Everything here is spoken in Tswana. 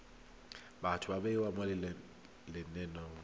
batho ba bewa mo lenaneng